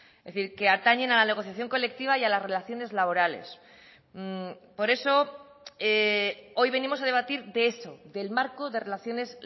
es decir que atañen a la negociación colectiva y a las relaciones laborales por eso hoy venimos a debatir de eso del marco de relaciones